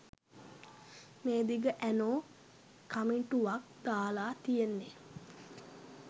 මේ දිග ඇනෝ කමෙන්ටුවක් දාලා තියෙන්නේ